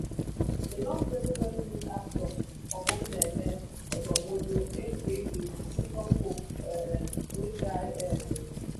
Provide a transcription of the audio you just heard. dem don bury nollywood actor obumneme odonwodo aka junior pope um wey die um